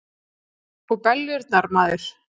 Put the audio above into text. Og beljurnar, maður!